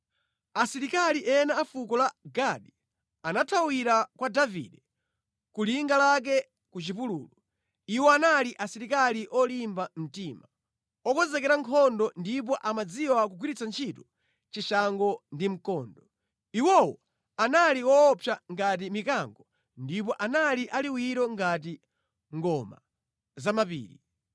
Asilikali ena a fuko la Gadi anathawira kwa Davide ku linga lake ku chipululu. Iwo anali asilikali olimba mtima, okonzekera nkhondo ndipo amadziwa kugwiritsa ntchito chishango ndi mkondo. Iwowo anali woopsa ngati mikango ndipo anali aliwiro ngati ngoma zamʼmapiri.